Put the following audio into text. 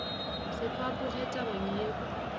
se fapoge tabeng ye o